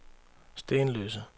Stenløse